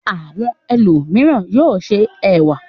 Àwọn ẹlòmíràn yóò se ẹ̀wà.